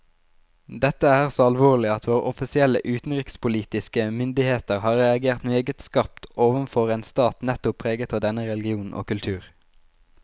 Dette er så alvorlig at våre offisielle utenrikspolitiske myndigheter har reagert meget skarpt overfor en stat nettopp preget av denne religion og kultur.